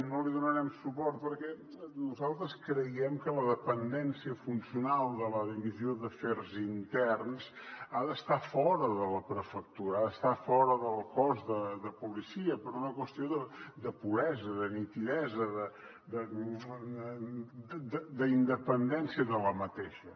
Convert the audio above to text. no li donarem suport perquè nosaltres creiem que la dependència funcional de la divisió d’afers interns ha d’estar fora de la prefectura ha d’estar fora del cos de policia per una qüestió de puresa de nitidesa d’independència